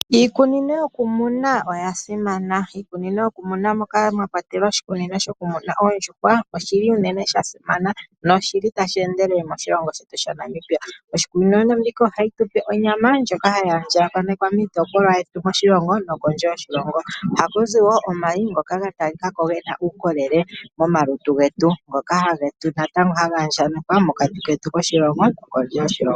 Iikunino yokumuna oya simana. Iikunino yokumuna moka mwa kwatelwa oshikunino shokumuna Oondjuhwa osha simana noshili tashi endelele moshilongo shetu shaNamibia. Iikunino mbika ohayi tupe onyama ndjoka hayi a ndjakanekwa miitopolwa yetu moshilongo no kondje yoshilongo. Oha kuzi wo omayi ngoka ga talika ko gena uukolele mo malutu getu, ngoka natango haga andjanekwa moshilongo shetu no kondje yoshilongo.